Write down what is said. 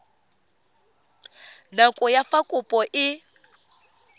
nako ya fa kopo e